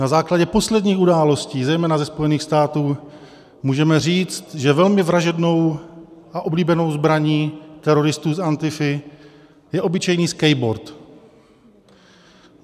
Na základě posledních událostí zejména ze Spojených států můžeme říct, že velmi vražednou a oblíbenou zbraní teroristů z Antify je obyčejný skateboard.